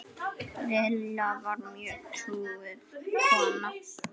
Lilla var mjög trúuð kona.